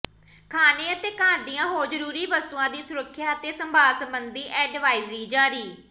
ਖਾਣੇ ਅਤੇ ਘਰ ਦੀਆਂ ਹੋਰ ਜ਼ਰੂਰੀ ਵਸਤੂਆਂ ਦੀ ਸੁਰੱਖਿਆ ਅਤੇ ਸੰਭਾਲ ਸੰਬੰਧੀ ਐਡਵਾਇਜ਼ਰੀ ਜਾਰੀ